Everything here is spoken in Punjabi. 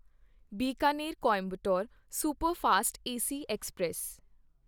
Bikaner Coimbatore superfast AC express